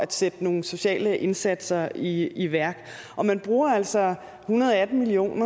at sætte nogle sociale indsatser i i værk man bruger altså hundrede og atten million